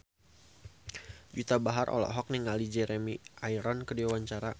Juwita Bahar olohok ningali Jeremy Irons keur diwawancara